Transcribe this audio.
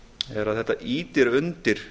er að þetta ýtir undir